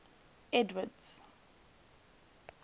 edward's